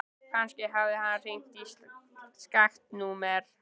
Kannski hafði hann hringt í skakkt númer.